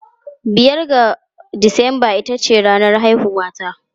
Biyar ga Disamba ita ce ranar haihuwata.